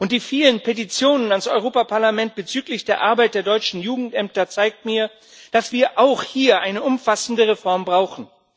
Die vielen Petitionen an das Europäische Parlament bezüglich der Arbeit der deutschen Jugendämter zeigen mir, dass wir auch hier eine umfassende Reform brauchen.